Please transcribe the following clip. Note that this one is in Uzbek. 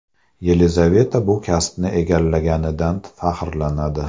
Yelizaveta bu kasbni egallaganidan faxrlanadi.